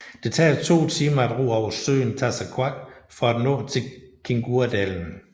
Det tager to timer at ro over søen Tasersuaq for at nå til Kinguadalen